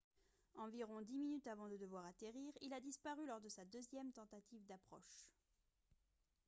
environ dix minutes avant de devoir atterrir il a disparu lors de sa deuxième tentative d'approche